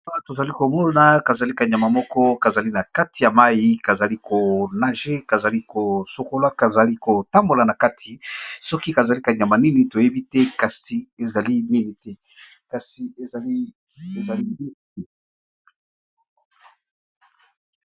Awa tozali komona kazali kanyama moko kazali na kati ya mai kazali konage kazali kosokola kazali kotambola na kati soki kazali kanyama nini toyebi te iiiekasi ezaliezali iie.